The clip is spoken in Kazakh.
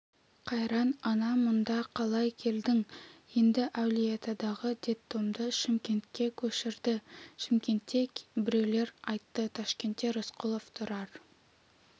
қайран ана мұнда қалай келдің енді әулиеатадағы детдомды шымкентке көшірді шымкентте біреулер айтты ташкентте рысқұлов тұрар